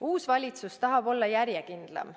Uus valitsus tahab olla järjekindlam.